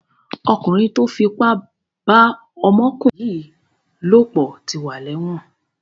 Ọkùnrin tó fipá bá ọmọkùnrin yìí lòpọ̀ ti wà lẹ́wọ̀n.